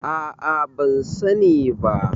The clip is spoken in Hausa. a a ban sani ba